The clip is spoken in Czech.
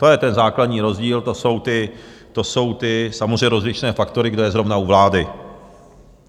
To je ten základní rozdíl, to jsou ty samozřejmě rozličné faktory, kdo je zrovna u vlády.